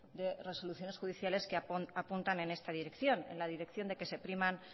de resoluciones judiciales que apuntan en esta dirección en la dirección de que se priman